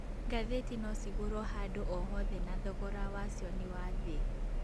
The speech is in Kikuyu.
Ngathĩti nocigũrwo handũ o hothe na thogora wacio nĩ wa thĩ